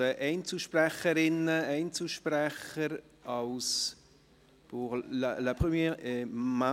Wir kommen zu den Einzelsprecherinnen und Einzelsprechern.